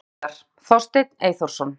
Höfundur myndar: Þorsteinn Eyþórsson.